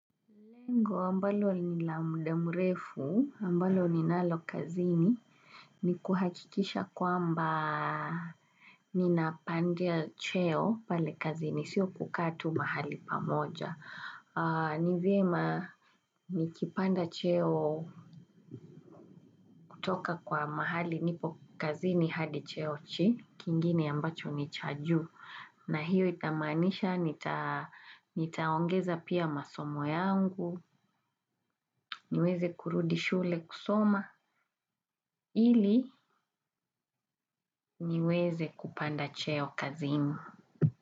Ambalo ni la muda mrefu, ambalo ninalo kazini, ni kuhakikisha kwamba ninapandia cheo pale kazini, sio kukaa tu mahali pamoja. Ni vyema, nikipanda cheo kutoka kwa mahali nipo kazini hadi cheo kingine ambacho ni cha juu. Na hiyo inamaanisha nitaongeza pia masomo yangu, niweze kurudi shule kusoma ili niweze kupanda cheo kazini.